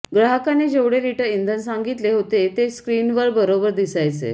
ग्राहकाने जेवढे लिटर इंधन सांगितले होते ते स्क्रीनवर बरोबर दिसायचे